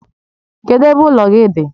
Kedụ ebe ụlọ gị dị?